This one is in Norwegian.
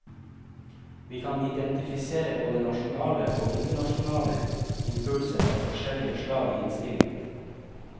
Vi kan identifisere både nasjonale og internasjonale impulser av forskjellig slag i innstillingen.